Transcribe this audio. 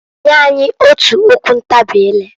Nya anyị otu okwu ntabị ileǃ